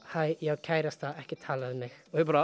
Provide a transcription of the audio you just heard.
hæ ég á kærasta ekki tala við mig